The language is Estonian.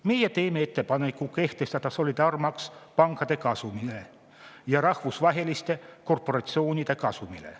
Meie teeme ettepaneku kehtestada solidaarsusmaks pankade kasumilt ja rahvusvaheliste korporatsioonide kasumilt.